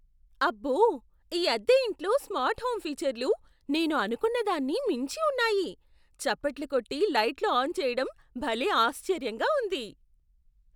అబ్బో, ఈ అద్దె ఇంట్లో స్మార్ట్ హోమ్ ఫీచర్లు నేను అనుకున్న దాన్ని మించి ఉన్నాయి. చప్పట్లు కొట్టి, లైట్లు ఆన్ చేయటం భలే ఆశ్చర్యంగా ఉంది!